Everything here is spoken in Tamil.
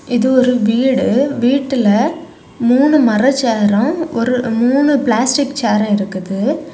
இது ஒரு வீடு வீட்டுல மூணு மர ஷேரும் ஒரு மூணு பிளாஸ்டிக் ஷேரு இருக்குது.